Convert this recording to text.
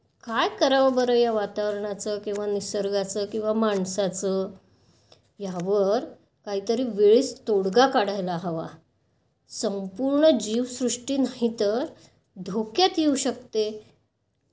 काय करावं बरं या वातावरणाचं किंवा निसर्गाचं किंवा माणसाचं? यावर काहीतरी वेळीच तोडगा काढायला हवा. संपूर्ण जीवसृष्टी नाहीतर धोक्यात येऊ शकते.